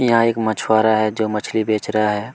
यहाँ एक मछुआरा है जो की मछली बेच रहा है।